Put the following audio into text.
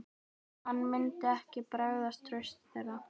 Hann myndi ekki bregðast trausti þeirra.